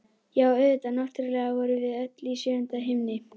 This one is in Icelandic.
Já, auðvitað, náttúrlega vorum við öll í sjöunda himni!